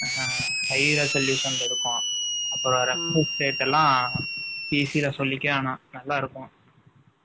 37 . higher solution ல இருக்கோம். அப்புறம், EC ல சொல்லிக்க வேணாம். நல்லா இருக்கும்